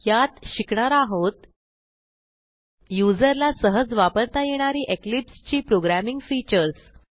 यात शिकणार आहोत युजरला सहज वापरता येणारी इक्लिप्स ची प्रोग्रॅमिंग फीचर्स